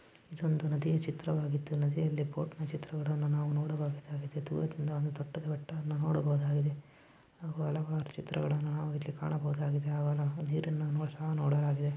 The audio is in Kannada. ಈ ಒಂದು ನದಿಯಾ ಚಿತ್ರ ವಾಗಿದ್ದು ನದಿ ಯಲ್ಲಿ ಬೋಟಿನ ಚಿತ್ರಗಳನ್ನು ನಾವು ನೋಡಬವುದಾಗಿದೆ ಬೃಹತ್ ಎಡಿಎ ದೊಡ್ಡ ದೊಡ್ಡ ಬೋಟನ್ನ ನೋಡಬಹುದಾಗಿದೆ ಹಲವಾರು ಚಿತ್ರಗಳನ್ನು ನಾವು ಇಲ್ಲಿ ಕಾಣಬಹುದಾಗುದೆ ಮಮತೆ ಅಲ್ಲಿ ನೀರನು ಸಹ ನೋಡಲಾಗಿದೆ.